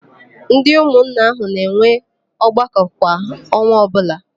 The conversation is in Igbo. Ndị ụmụnna áhụ̀ na-enwe ọgbakọ kwa ọnwa ọbụla.